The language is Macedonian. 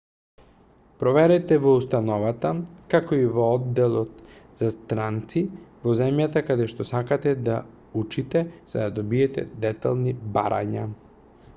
проверете во установата како и во одделот за странци во земјата каде што сакате да учите за да добиете детални барања